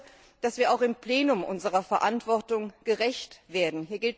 Ich hoffe, dass wir auch im Plenum unserer Verantwortung gerecht werden.